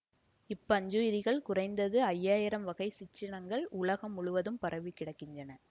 இப்பஞ்சுயிரிகளில் குறைந்தது ஐய்யாயிரம் வகை சிற்றினங்கள் உலகம் முழுதும் பரவிக்கிடக்கின்றன